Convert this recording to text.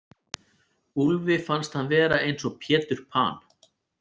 Úlfi fannst hann vera eins og Pétur Pan.